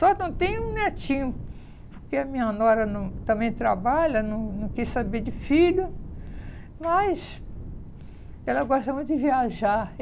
Só não tem um netinho, porque a minha nora não também trabalha, não não quis saber de filho, mas ela gosta muito de viajar.